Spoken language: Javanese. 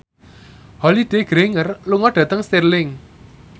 Holliday Grainger lunga dhateng Stirling